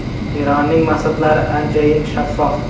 Eronning maqsadlari anchayin shaffof.